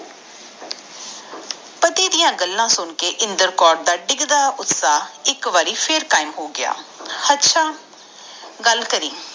ਪੱਟੀ ਡਾ ਗੱਲਾਂ ਸੁਨ ਕੇ ਇੰਦਰ ਕੌਰ ਦਾ ਗਿਗਦਾ ਉਤਸ਼ਾਹ ਫੇਰ ਕਾਇਮ ਹੋਗਿਆ ਹਟਸ ਗੱਲ ਕਰਿ